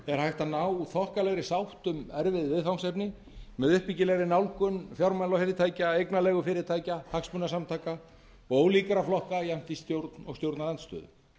er hægt að ná þokkalegri sátt um erfið viðfangsefni með uppbyggilegri nálgun fjármálafyrirtækja eignarleigufyrirtækja hagsmunasamtaka og ólíkra flokka jafnt í stjórn og stjórnarandstöðu